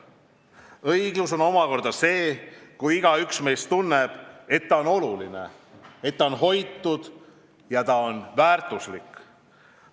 Õiglus omakorda on see, kui igaüks meist tunneb, et ta on oluline, et ta on hoitud ja väärtuslik.